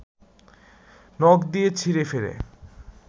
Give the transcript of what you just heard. নখ দিয়ে ছিঁড়েফেড়ে